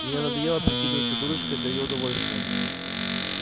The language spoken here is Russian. мне надоело прикидываться дурочкой для ееё удовольствия